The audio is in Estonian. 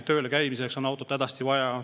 Tööl käimiseks on maal autot hädasti vaja.